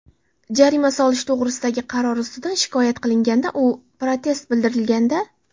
jarima solish to‘g‘risidagi qaror ustidan shikoyat qilinganda yoki protest bildirilganda;.